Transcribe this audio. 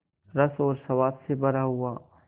रस और स्वाद से भरा हुआ